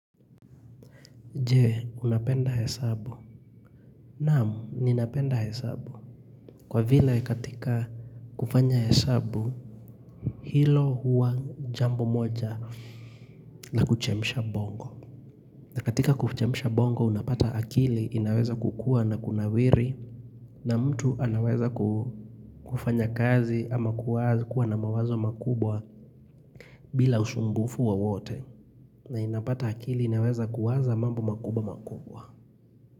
Je, unapenda hesabu? Naam! Ninapenda hesabu. Kwa vila katika kufanya hesabu, hilo huwa jambo moja na kuchemsha bongo. Na katika kuchemsha bongo, unapata akili inaweza kukua na kunawiri. Na mtu anaweza kufanya kazi ama kuwa kuwa na mawazo makubwa bila usumbufu wowote. Na inapata akili inaweza kuwaza mambo makubwa makubwa.